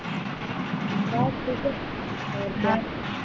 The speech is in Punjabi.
ਬਸ ਠੀਕੇ ਹੋਰ ਕਿਆ।